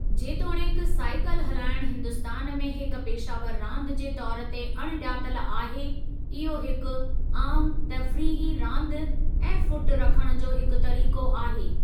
जेतोणीकि साईकिल हलाइणु हिन्दुस्तान में हिक पेशावरु रांदि जे तौर ते अणॼातल आहे इहो हिकु आमु तफ़रीही रांदि ऐं फ़ुट रखणु जो हिकु तरीक़ो आहे।